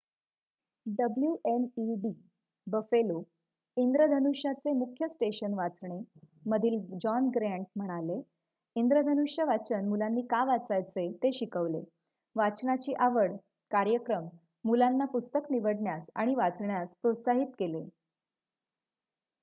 "wned Buffalo इंद्रधनुष्याचे मुख्य station वाचणे मधील जॉन ग्रँट म्हणाले "इंद्रधनुष्य वाचन मुलांनी का वाचायचे ते शिकवले,... वाचनाची आवड - [कार्यक्रम] मुलांना पुस्तक निवडण्यास आणि वाचण्यास प्रोत्साहित केले.""